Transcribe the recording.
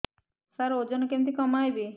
ସାର ଓଜନ କେମିତି କମେଇବି